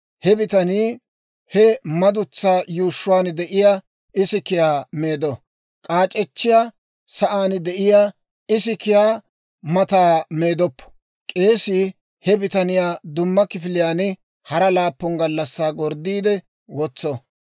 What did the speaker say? he bitanii he madutsaa yuushshuwaan de'iyaa isikiyaa meedo; k'aac'echchiyaa sa'aan de'iyaa isikiyaa mata meedoppo. K'eesii he bitaniyaa dumma kifiliyaan hara laappun gallassaa gorddiide wotso.